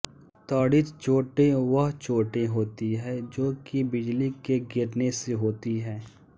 तड़ित चोंटे वह चोंटे होती है जो की बिजली के गिरने से होती है